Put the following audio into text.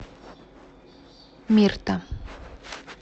мирта